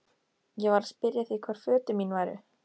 Ég var að spyrja þig hvar fötin mín væru?